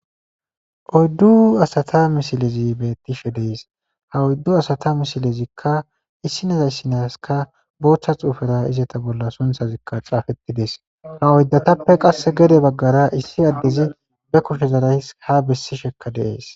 oddu asata misilezi bettishe dees ha oyddu asata misilezikka issi naza issi naska boochcha xuufera izeta bolla sunthazikka xaafettides ha oyddatappe qass gede baggara issi addezi be kushe zarays ha bessishekka deees